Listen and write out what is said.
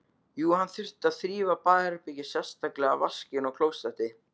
Jú, hann þurfti að þrífa baðherbergið, sérstaklega vaskinn og klósettið.